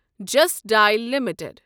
just Dial limited